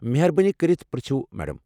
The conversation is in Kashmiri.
مہربٲنی کٔرتھ پرژھو میڈم ۔